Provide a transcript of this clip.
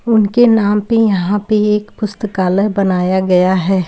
उनके नाम पे यहां पे एक पुस्तकालय बानाया गया है।